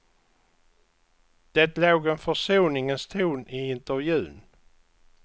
Det låg en försoningens ton i intervjun.